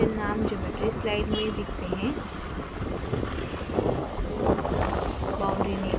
boundary condition names geometry slide में दिखते हैं